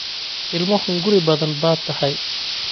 Ilmo hunguri badan baad tahay.